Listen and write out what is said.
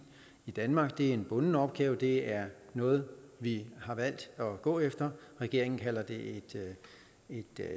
i danmark det er en bunden opgave det er noget vi har valgt at gå efter regeringen kalder det et